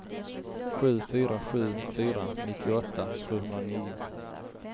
sju fyra sju fyra nittioåtta sjuhundranio